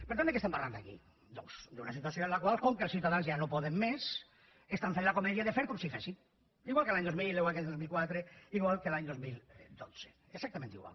per tant de què estem parlant aquí doncs d’una situació en la qual com que els ciutadans ja no poden més estan fent la comèdia de fer com si fessin igual que l’any dos mil igual que el dos mil quatre igual que l’any dos mil dotze exactament igual